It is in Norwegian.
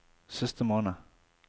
siste måned